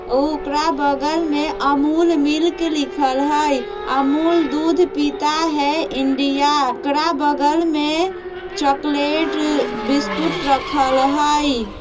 उ ओकरा बगल में अमूल मिल्क लिखल हई अमूल दूध पीता है इंडिया ओकरा बगल में चौकलेट बिस्कुट रखल हई।